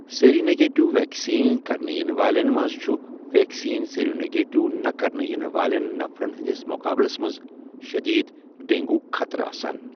Seronegative vaccine كرنہٕ یِنہٕ والٮ۪ن مَنٛز چُھ ویکسیٖن سیرونٮ۪گیٹیو نہٕ كرنہٕ یِنہٕ والین نَفرَن ہِنٛدِس مُقابٕلَس مَنٛزشٔدیٖد ڈینٛگوُ ہٗک خَطرٕ آسان۔